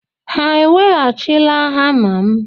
Ha eweghachila hama m?